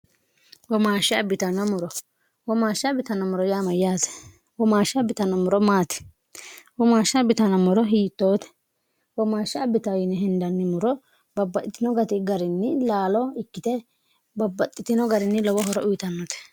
womaashsha abitano muro womaashsha abitanomoro yaama yaate womaashsha bitano muro maati womaashsha abitanommoro hiittoote womaashsha abitayini hindanni muro babbaxitino gari garinni laalo ikkite babbaxxitino garinni lowo horo uyitannote